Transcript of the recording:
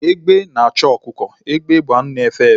Egbe na-achụ ọkụkọ. Egbe bụ anụ na-efe efe